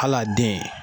Hal'a den